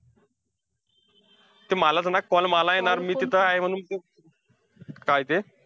ते मला ते ना call मला येणार मी तिथे आहे म्हणून, ते काय ते?